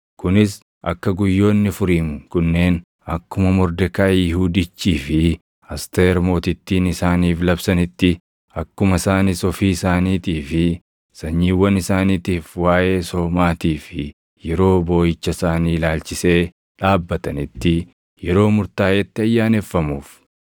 Kunis akka guyyoonni Furiim kunneen akkuma Mordekaayi Yihuudichii fi Asteer Mootittiin isaaniif labsanitti, akkuma isaanis ofii isaaniitii fi sanyiiwwan isaaniitiif waaʼee soomaatii fi yeroo booʼicha isaanii ilaalchisee dhaabbatanitti yeroo murtaaʼetti ayyaaneffamuuf.